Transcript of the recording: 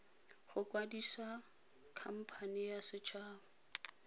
go kwadisa khamphane ya setshaba